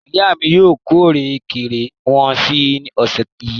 Ìyá mi yóò kórè ìrèké wọn ní ọ̀sẹ̀ yìí.